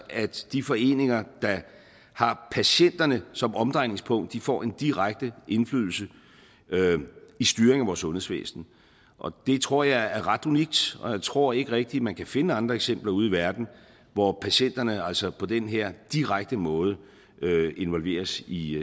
at de foreninger der har patienterne som omdrejningspunkt får en direkte indflydelse i styringen af vores sundhedsvæsen det tror jeg er ret unikt og jeg tror ikke rigtig man kan finde andre eksempler ude i verden hvor patienterne altså på den her direkte måde involveres i